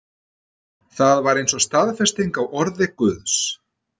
Það var eins og staðfesting á orði Guðs.